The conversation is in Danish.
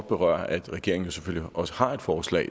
berøre at regeringen selvfølgelig også har et forslag